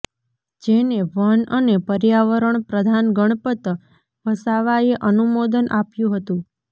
જેને વન અને પર્યાવરણ પ્રધાન ગણપત વસાવાએ અનુમોદન આપ્યું હતું